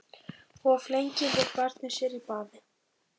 Of lengi lék barnið sér í baði